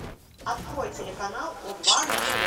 открой телеканал о два на тв